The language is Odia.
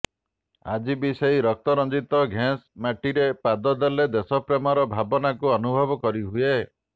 ଆଜିବି ସେଇ ରକ୍ତରଞ୍ଜିତ ଘେଁସ ମାଟିରେ ପାଦଦେଲେ ଦେଶପ୍ରେମର ଭାବନାକୁ ଅନୁଭବ କରି ହୁଏ